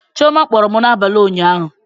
Chioma kpọrọ m n'abalị ụnyaahụ